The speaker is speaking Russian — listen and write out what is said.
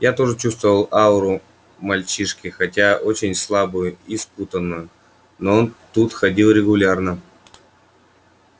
я тоже чувствовал ауру мальчишки хотя очень слабую и спутанную но он тут ходил регулярно